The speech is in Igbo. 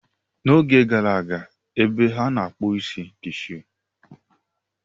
N'oge gara aga, ebe a na-akpụ isi dị few.